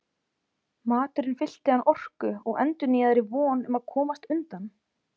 Maturinn fyllti hann orku og endurnýjaðri von um að komast undan.